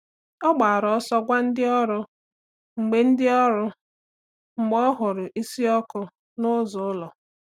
Ọ gbàrà ọsọ gwa ndị ọrụ mgbe ndị ọrụ mgbe ọ hụrụ̀ ísì ọkụ̀ n’ụzọ ụlọ̀.